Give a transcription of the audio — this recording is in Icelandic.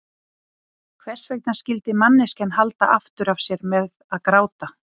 Hvers vegna skyldi manneskjan halda aftur af sér með að gráta?